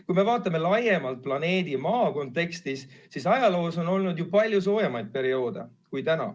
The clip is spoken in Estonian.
Kui me vaatame laiemalt planeedi Maa kontekstis, siis ajaloos on olnud palju soojemaid perioode kui praegune.